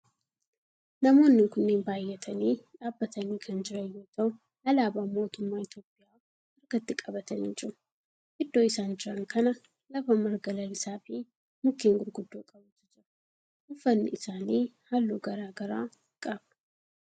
Namoonni kunneen baayyatanii dhaabbatanii kan jiran yoo ta'u alaabaa mootummaa Itiyoophiyaa harkatti qabatanii jiru. Iddoo isaan jiran kana lafa marga lalisaa fi mukkeen gurguddoo qabutu jira. Uffanni isaanii halluu garaagaraa qaba.